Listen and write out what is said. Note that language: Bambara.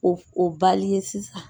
O o ye sisan